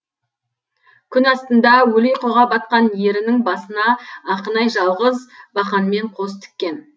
күн астында өлі ұйқыға батқан ерінің басына ақынай жалғыз бақанмен қос тіккен